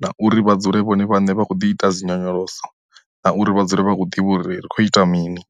na uri vha dzule vhone vhane vha khou ḓi ita dzi nyonyoloso na uri vha dzule vha khou ḓivha uri ri khou ita mini.